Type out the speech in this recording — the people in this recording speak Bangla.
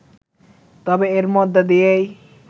তবে এর মধ্যে দিয়েই